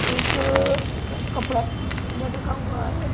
एक लटका हुआ है।